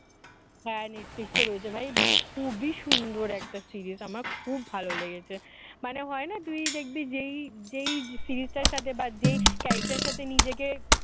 হ্যাঁ netflix এ রয়েছে ভাই খুবই সুন্দর একটা serials আমার খুব ভালো লেগেছে মানে হয় না তুই দেখবি যেই যেই series টার সাথে বা যেই character এর সাথে নিজেকে